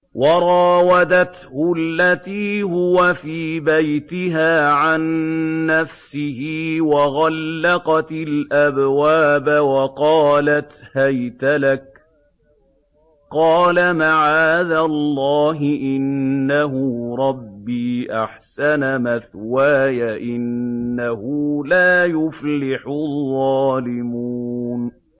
وَرَاوَدَتْهُ الَّتِي هُوَ فِي بَيْتِهَا عَن نَّفْسِهِ وَغَلَّقَتِ الْأَبْوَابَ وَقَالَتْ هَيْتَ لَكَ ۚ قَالَ مَعَاذَ اللَّهِ ۖ إِنَّهُ رَبِّي أَحْسَنَ مَثْوَايَ ۖ إِنَّهُ لَا يُفْلِحُ الظَّالِمُونَ